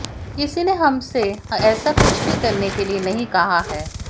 किसी ने हमसे ऐसा कुछ भी करने के लिए नहीं कहा है